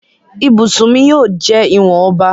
ibusùn mí yíò jẹ ìwọn ọba.